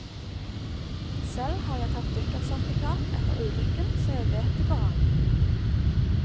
Selv har jeg tatt dykkersertifikat etter ulykken, så jeg vet det går an.